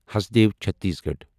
Hasdeo Chhattisgarh